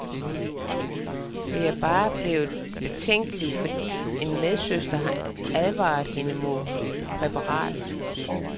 Det er bare blevet betænkelig, fordi en medsøster har advaret hende mod præparatet.